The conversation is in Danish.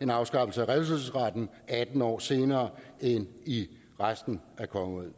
en afskaffelse af revselsesretten atten år senere end i resten af kongeriget